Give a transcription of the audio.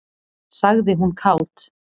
sagði hún kát.